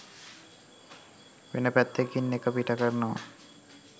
වෙන පැත්තකින් ඒක පිට කරනව